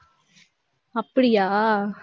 அப்படியா